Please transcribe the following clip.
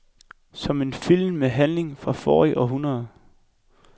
Som en film med en handling fra forrige århundrede.